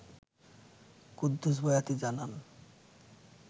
কুদ্দুস বয়াতি জানান